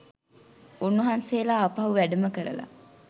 උන්වහන්සේලා ආපහු වැඩම කරලා